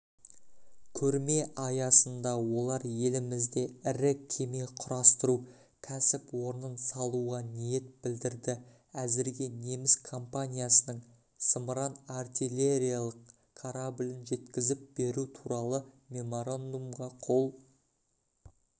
көрме аясында олар елімізде ірі кеме құрастыру кәсіпорнын салуға ниет білдірді әзірге неміс компаниясының зымыран-артилериялық кораблін жеткізіп беру туралы меморандумға қол